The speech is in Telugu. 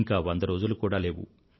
ఇంకా వంద రోజులు కూడా లేవు